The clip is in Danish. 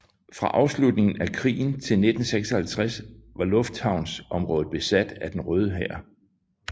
Fra afslutningen af krigen til 1956 var lufthavnsområdet besat af Den Røde Hær